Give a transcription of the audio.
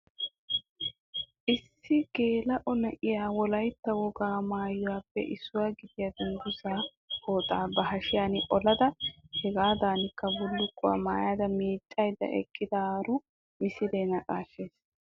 Issi geela"o na"iya wolaytta wogaa maayotuppe issuwa gidiya dungguzaa pooxaa ba hashuyan olada hegaadankka bullukkuwa maayada miiccaydda eqqidoogaa misilee naqaashshees